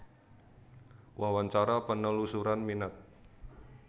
Wawancara penelusuran minat